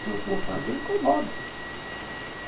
Se eu for fazer, incomoda.